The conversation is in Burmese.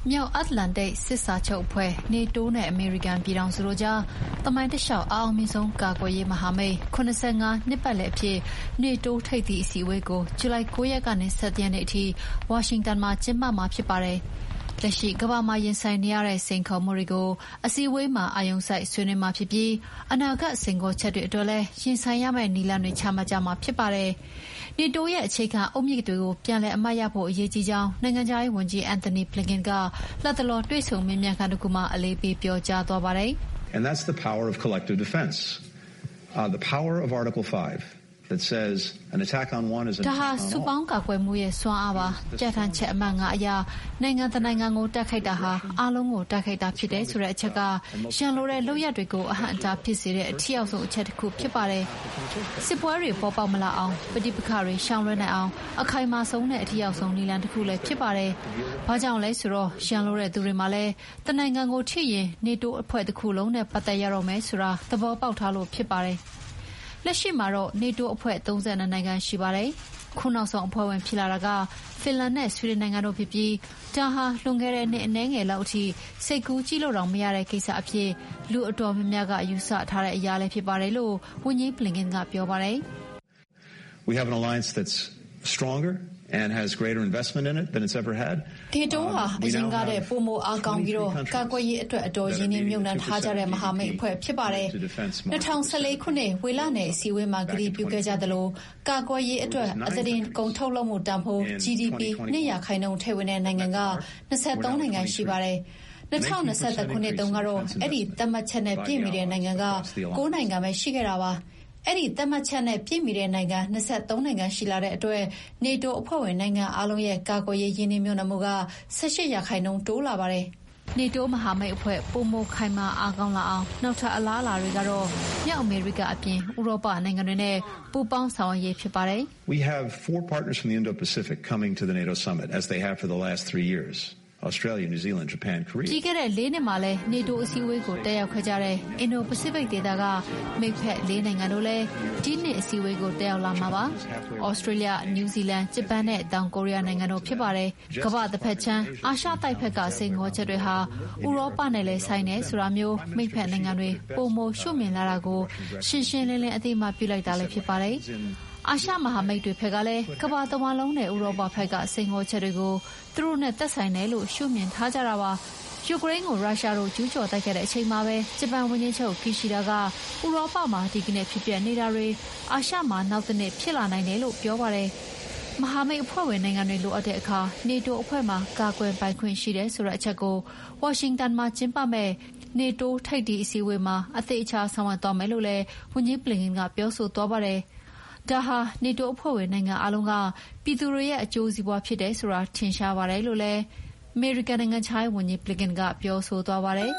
မြောက်အတ္တလန္တိတ်စစ်စာချုပ်အဖွဲ့ နေတိုးနဲ့ အမေရိကန်ပြည်ထောင်စုတို့ကြား သမိုင်းတလျှောက် အအောင်မြင်ဆုံးကာကွယ်ရေးမဟာမိတ် ၇၅ နှစ်ပတ်လည်အဖြစ် နေတိုးထိပ်သီးအစည်းအဝေးကို ဂျူလိုင် ၉ ရက်ကနေ ၁၁ ရက်နေ့အထိ ဝါရှင်တန်မှာကျင်းပမှာဖြစ်ပါတယ်။ လက်ရှိ ကမ္ဘာမှာ ရင်ဆိုင်နေရတဲ့ စိန်ခေါ်မှုတွေကို အစည်းအဝေးမှာ အာရုံစိုက်ဆွေးနွေးမှာဖြစ်ပြီး အနာဂတ်စိန်ခေါ်ချက်တွေအတွက်လည်း ရင်ဆိုင်ရမယ့်နည်းလမ်း တွေချမှတ်ကြမှာဖြစ်ပါတယ်။ နေတိုးရဲ့ အခြေခံအုတ်မြစ်ကို ပြန်လည်အမှတ်ရဖို့ အရေးကြီးကြောင်း နိုင်ငံခြားရေးဝန်ကြီး Antony Blinken က လတ်တလော တွေ့ဆုံမေးမြန်းခန်းတခုမှာ အလေးပေးပြောကြားခဲ့သည်။ "ဒါဟာ စုပေါင်းကာကွယ်မှုရဲ့စွမ်းအားပါ။ ပြဌာန်းချက်အမှတ် (၅) အရ နိုင်ငံတနိုင်ငံကို တိုက်ခိုက်တာဟာ အားလုံးကို တိုက်ခိုက်တာဖြစ်တယ်ဆိုတဲ့အချက်က ရန်လိုတဲ့လုပ်ရပ်တွေကို အဟန့်အဟားဖြစ်စေတဲ့ အထိရောက်ဆုံး အချက်တခုဖြစ်ပါတယ်။ စစ်ပွဲတွေပေါ်ပေါက်မလာအောင်၊ ပဋိပက္ခတွေ ရှောင်လွှဲနိုင်အောင် အခိုင်မာဆုံးနဲ့ အထိရောက်ဆုံးနည်းလမ်းတခုလည်းဖြစ်ပါတယ်။ ဘာကြောင့်လဲဆိုတော့ ရန်လိုတဲ့သူတွေမှာလည်း တနိုင်ငံကိုထိရင် နေတိုးအဖွဲ့တခုလုံးနဲ့ ပတ်သက်ရတော့မယ်ဆိုတာ သဘောပေါက်ထားလို့ဖြစ်ပါတယ်။” လက်ရှိမှာတော့နေတိုးအဖွဲ့ဝင် ၃၂ နိုင်ငံရှိပါတယ်။ ခုနောက်ဆုံးအဖွဲ့ဝင်ဖြစ်လာတာက ဖင်လန်နဲ့ဆွီဒင်နိုင်ငံတို့ဖြစ်ပြီး ဒါဟာ လွန်ခဲ့တဲ့နှစ်အနည်းငယ်လောက်အထိ စိတ်ကူးကြည့်လို့တောင်မရတဲ့ကိစ္စအဖြစ် လူအတော်များများယူဆထားတဲ့အရာလည်းဖြစ်ပါတယ်လို့ ဝန်ကြီး Blinken ကပြောပါတယ်။ “နေတိုးဟာ အရင်ကထက်ပိုမိုအားကောင်းပြီး ကာကွယ်ရေးအတွက် အတော်ရင်းနှီးမြှုပ်နှံထားကြတဲ့ မဟာမိတ်အဖွဲ့ဖြစ်ပါတယ်။ ၂၀၁၄ ခုနှစ် ဝေလနယ်အစည်းအဝေးမှာကတိပြုခဲ့ကြသလို ကာကွယ်ရေးအတွက် အသားတင်ထုတ်ကုန်တန်ဖိုး GDP ၂ ရာခိုင်နှုန်းထည့်ဝင်တဲ့ နိုင်ငံက ၂၃ နိုင်ငံရှိပါတယ်။ ၂၀၂၁ ခုနှစ်တုန်းကတော့ အဲဒီသတ်မှတ်ချက်နဲ့ပြည့်မီတဲ့နိုင်ငံက ၉ နိုင်ငံပဲရှိခဲ့တာပါ။ အဲဒီသတ်မှတ်ချက်နဲ့ပြည့်မီတဲ့နိုင်ငံ ၂၃ နိုင်ငံရှိလာတဲ့အတွက် နေတိုးအဖွဲ့ဝင်နိုင်ငံအားလုံးရဲ့ ကာကွယ်ရေးရင်းနှီးမြှုပ်နှံမှုက ၁၈ ရာခိုင်နှုန်းတိုးလာပါတယ်။” နေတိုးမဟာမိတ်အဖွဲ့ ပိုမိုခိုင်မာအားကောင်းလာစေမယ့် နောက်ထပ်အလားအလာတွေကတော့ မြောက်အမေရိကအပြင် ဥရောပနိုင်ငံတွေနဲ့ ပူးပေါင်းဆောင်ရွက်ရေးဖြစ်ပါတယ်။ ပြီးခဲ့တဲ့ ၄ နှစ်မှာလည်း နေတိုးအစည်းအဝေးကို တက်ရောက်ခဲ့ကြတဲ့ အင်ဒို-ပစိဖိတ်ဒေသက မိတ်ဖက် ၄ နိုင်ငံလည်း ဒီနှစ် အစည်းအဝေးကိုတက်ရောက်လာမှာပါ။ သြစတြေးလျ၊ နယူးဇီလန်၊ ဂျပန်နဲ့ တောင်ကိုရီးယားနိုင်ငံတို့ဖြစ်ကြပါတယ်။ ကမ္ဘာတဘက်ခြမ်း အာရှတိုက်ဘက်က စိန်ခေါ်ချက်တွေဟာ ဥရောပနဲ့လည်းဆိုင်တယ်ဆိုတာမျိုး မိတ်ဖက်နိုင်ငံတွေက ပိုမို ရှုမြင်လာတာကို ရှင်းရှင်းလင်းလင်း အသိအမှတ်ပြုလိုက်တာလည်းဖြစ်ပါတယ်။ အာရှမဟာမိတ်တွေဘက်ကလည်း ကမ္ဘာတဝန်းလုံးနဲ့ ဥရောပဖက်က စိန်ခေါ်ချက်တွေကို သူတို့နဲ့သက်ဆိုင်တယ်လို့ ရှုမြင်ထားကြပါတယ်။ ယူကရိန်းကို ရုရှားတို့ကျူးကျော်တိုက်ခိုက်တဲ့အချိန်မှာပဲ ဂျပန်ဝန်ကြီးချုပ် ကီရှိဒါက ဥရောပမှာ ဒီကနေ့ဖြစ်ပျက်နေတာတွေ အာရှမှာ နောက်တနေ့ ဖြစ်လာနိုင်တယ်လို့ ပြောပါတယ်။” မဟာမိတ်အဖွဲ့ဝင်နိုင်ငံတွေ လိုအပ်တဲ့အခါ နေတိုးအဖွဲ့မှာကာကွယ်ပိုင်ခွင့်ရှိတယ်ဆိုတဲ့အချက်ကို ဝါရှင်တန်မှာကျင်းပမယ့် နေတိုးထိပ်သီးအစည်းအဝေးမှာ အသေအချာဆောင်ရွက်သွားမယ်လို့လည်း ဝန်ကြီး Blinken ကပြောဆိုသွားပါတယ်။ ဒါဟာ နေတိုးအဖွဲ့ဝင်နိုင်ငံအားလုံးက ပြည်သူတွေရဲ့ အကျိုးစီးပွါးဖြစ်တယ်ဆိုတာ ထင်ရှားပါတယ်လို့လည်း အမေရိကန်နိုင်ငံခြားရေးဝန်ကြီး Blinken ကပြောဆိုသွားပါတယ်